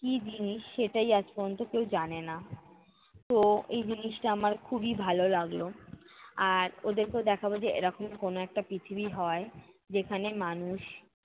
কী জিনিস সেটাই আজ পর্যন্ত কেউ জানেনা। তো এই জিনিসটা আমার খুবই ভালো লাগলো আর ওদেরকেও দেখাবো যে এরকম কোন একটা পৃথিবী হয়, যেখানে মানুষ